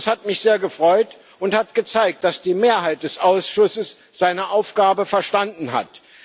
Das hat mich sehr gefreut und hat gezeigt, dass die Mehrheit des Ausschusses seine Aufgabe verstanden hat.